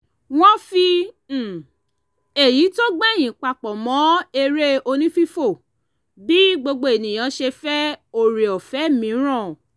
wọ́n fi um èyí tó gbẹ̀yìn papọ̀ mọ́ eré onífífò bí gbogbo ènìyàn ṣe fẹ́ oore ọ̀fẹ́ mìíràn